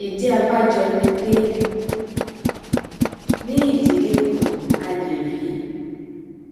ìdí abájọ ni pé ní ìdílé kan a lè rí